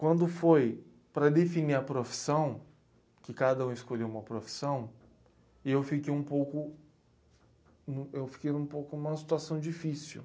Quando foi para definir a profissão, que cada um escolheu uma profissão, eu fiquei um pouco, m, eu fiquei um pouco em uma situação difícil.